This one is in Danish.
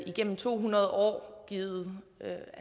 igennem to hundrede år har givet